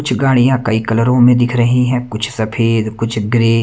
कुछ गाड़ियां कई कलरों में दिख रही हैं कुछ सफेद कुछ ग्रे --